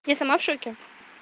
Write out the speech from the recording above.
я сама в шоке